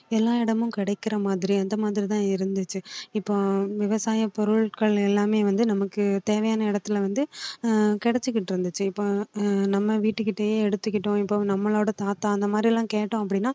எல்லா இடமும் கிடைக்கிற மாதிரி அந்த மாதிரி தான் இருந்துச்சு இப்போ விவசாய பொருட்கள் எல்லாமே வந்து நமக்கு தேவையான இடத்தில வந்து ஆஹ் கிடைச்சிக்கிட்டு இருந்துச்சு இப்போ நம்ம வீட்டுக்கிட்டேயே எடுத்துக்கிட்டோம் இப்போ நம்மளோட தாத்தா அந்த மாதிரி எல்லாம் கேட்டோம் அப்படின்னா